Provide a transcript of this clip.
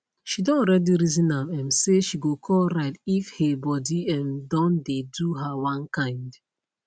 she don already reason am um say she go call ride if hey body um don dey do her one kind